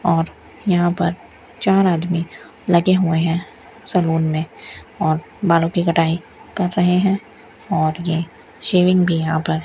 और यहां पर चार आदमी लगे हुए हैं सैलून में और बालों की कटाई कर रहे हैं और ये शेविंग भी यहां पर --